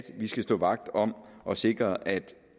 vi skal stå vagt om at sikre at